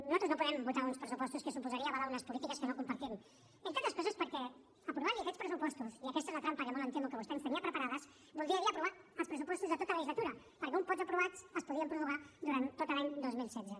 nosaltres no podem votar uns pressupostos que suposaria avalar unes polítiques que no compartim entre altres coses perquè aprovant li aquests pressupostos i aquesta és la trampa que molt em temo que vostè ens tenia preparada voldria dir aprovar els pressupostos de tota la legislatura perquè un cop aprovats es podrien prorrogar durant tot l’any dos mil setze